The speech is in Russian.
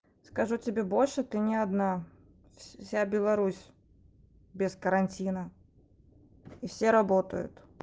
скажу тебе больше ты не одна вся беларусь без карантина и все работают